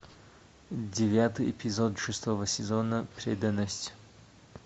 девятый эпизод шестого сезона преданность